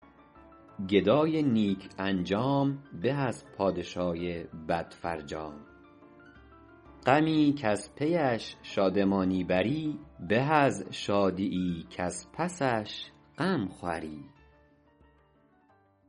گدای نیک انجام به از پادشای بد فرجام غمی کز پیش شادمانی بری به از شادیی کز پسش غم خوری